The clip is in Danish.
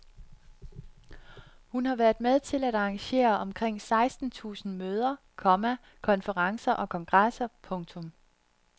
Hun har været med til at arrangere omkring seksten tusind møder, komma konferencer og kongresser. punktum